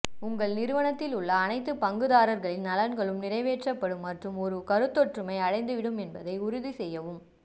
உங்கள் நிறுவனத்தில் உள்ள அனைத்து பங்குதாரர்களின் நலன்களும் நிறைவேற்றப்படும் மற்றும் ஒரு கருத்தொற்றுமை அடைந்துவிடும் என்பதை உறுதி செய்யவும்